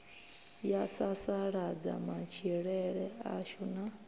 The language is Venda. ya sasaladza matshilele ashu na